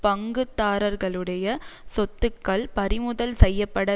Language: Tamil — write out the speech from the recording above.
பங்குதாரர்களுடைய சொத்துக்கள் பறிமுதல் செய்ய பட